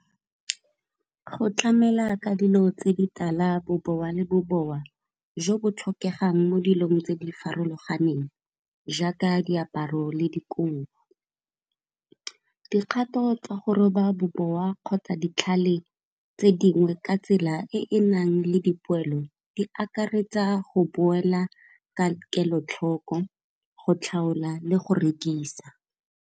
Go tlamela ka dilo tse di tala bobowa le bobowa jo bo tlhokegang mo dilong tse di farologaneng, jaaka diaparo le dikobo. Dikgato tsa go roba bobowa kgotsa ditlhale tse dingwe ka tsela e e nang le dipoelo, di akaretsa go boela ka kelotlhoko go tlhaola le go rekisa.